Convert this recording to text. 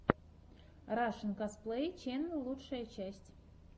рашэн косплей ченел лучшая часть